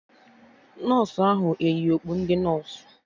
Nọsụ ahụ eyi okpu ndị nọsụ?